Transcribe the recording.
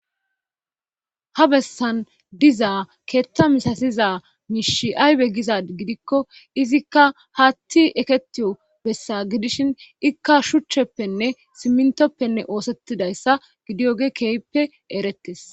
ha bessan diza keetta misasiza miishi aybe gizad gidikko izikka haatti eketiyo bessa gidishin ikka shuchcheppenne simmintoppenne oosettidayssa gidiyoge keeyppe erettes